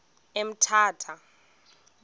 emthatha